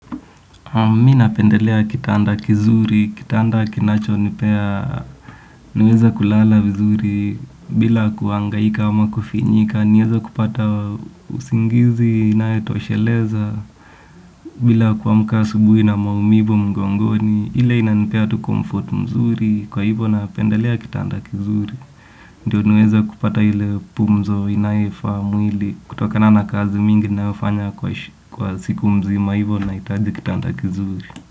Mi napendelea kitanda kizuri, kitanda kinacho nipea, naweza kulala vizuri bila kuhangaika ama kufinyika, naweza kupata usingizi, inayo tosheleza, bila kuamka asubuhi na maumivu mgongoni, ile inanipea tu comfort mzuri, kwa hivyo napendelea kitanda kizuri. Ndiyo niweze kupata ile pumzi inayo ifaa mwili kutokana na kazi mingi ninayofanya kwa siku mzima hivyo nahitaji kitanda kizuri.